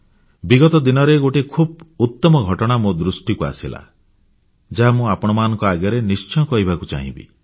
ବିଗତ ଦିନରେ ଗୋଟିଏ ଖୁବ୍ ଉତ୍ତମ ଘଟଣା ମୋ ଦୃଷ୍ଟିକୁ ଆସିଲା ଯାହା ମୁଁ ଆପଣମାନଙ୍କ ଆଗରେ ନିଶ୍ଚୟ କହିବାକୁ ଚାହିଁବି